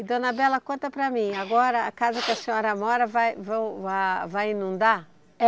E dona Bela, conta para mim, agora a casa que a senhora mora vai vão ah vai inundar?